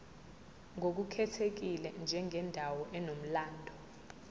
ngokukhethekile njengendawo enomlando